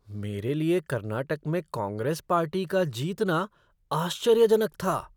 मेरे लिए कर्नाटक में कांग्रेस पार्टी का जीतना आश्चर्य जनक था।